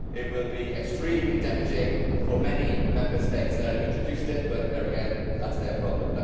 It will be extremely damaging for many of the Member States that have introduced it, but there again that is their problem.